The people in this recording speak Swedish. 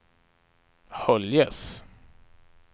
Höljes